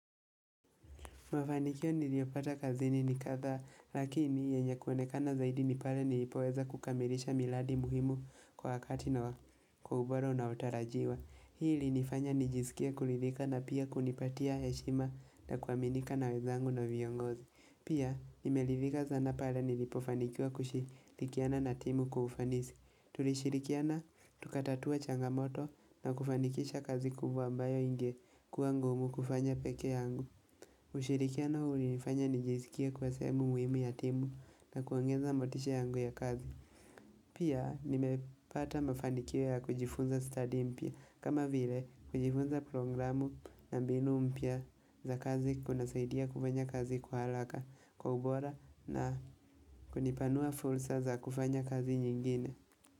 Mafanikio niliyopata kazini ni kadhaa, lakini yenye kuonekana zaidi nipale nilipoweza kukamilisha miradi muhimu kwa wakati na kwa ubora unaotarajiwa Hii ilinifanya nijisikie kuridhika na pia kunipatia heshima na kuaminika na wenzangu na viongozi. Pia, nime ridhika sana pale nilipofanikiwa kushii nikienda na timu kwa ufanisi Tulishirikiana, tukatatua changamoto na kufanikisha kazi kubwa mbayo ingekuwa ngumu kufanya pekee yangu. Ushirikiano huu ulinifanya nijiziskie kwa sehemu muhimu ya timu na kuongeza motisha yangu ya kazi Pia nimepata mafanikio ya kujifunza study mpya kama vile kujifunza programu na mbinu mpya za kazi kunasaidia kufanya kazi kwa haraka kwa ubora na kunipanua fursa za kufanya kazi nyingine.